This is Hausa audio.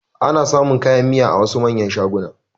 Ana samun kayan miya a wasu manyan shagunan